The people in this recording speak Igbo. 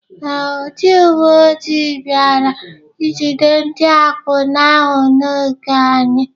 Ee, ndị uwe ojii bịara ijide ndị akwụna ahụ n’ogige anyị.